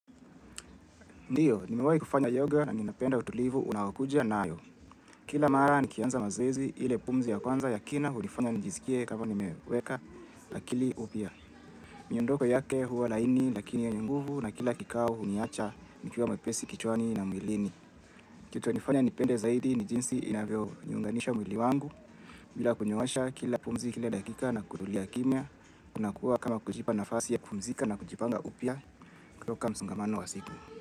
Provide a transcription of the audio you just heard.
Ndio, nimewahi kufanya yoga na ninapenda utulivu unaokuja nayo. Kila mara nikianza mazoezi ile pumzi ya kwanza ya kina hunifanya nijiskie kama nimeweka akili upya. Miondoko yake huwa laini lakini yenye nguvu na kila kikao huniacha nikiwa mwepesi kichwani na mwilini. Kitu ilinifanya nipende zaidi ni jinsi inavyoliunganisha mwili wangu. Bila kunyoosha kila pumzi kila dakika na kutulia kimya. Kunakuwa kama kujipa nafasi ya kupumzika na kujipanga upia kutoka msongamano wa siku.